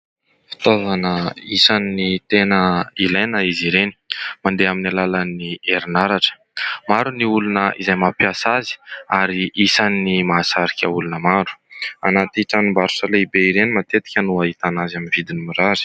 Fitaovana isan'ny tena ilaina izy ireny, mandeha amin'ny alalan'ny herinaratra. Maro ny olona izay mampiasa azy ary isan'ny mahasarika olona maro. Anaty tranom-barotra lehibe ireny matetika no ahitana azy amin'ny vidiny mirary.